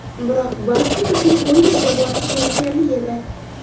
Biroq Baffet uchun kollejga borish zerikarli edi.